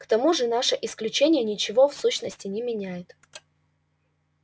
к тому же наше исключение ничего в сущности не меняет